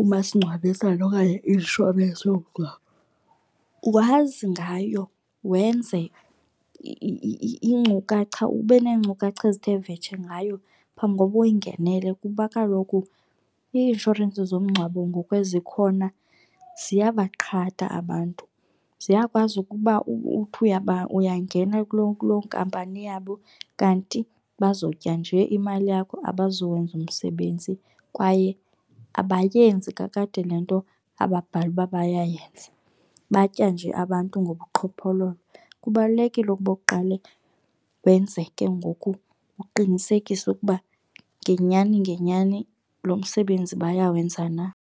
umasingcwabisane okanye i-inshorensi yokungcwaba wazi ngayo wenze inkcukacha ube neenkcukacha ezithe vetshe ngayo phambi koba uyingenele kuba kaloku i-inshorensi zomngcwabo ngoku ezikhona ziyabaqhata abantu. Ziyakwazi ukuba uthi uyangena kuloo nkampani yabo kanti bazotya nje imali yakho abazowenza umsebenzi kwaye abayenzi kakade le nto ababhale uba bayayenza, batya nje abantu ngobuqhophololo. Kubalulekile ukuba uqale wenze ke ngoku uqinisekise ukuba ngenyani ngenyani lo msebenzi bayawenza na.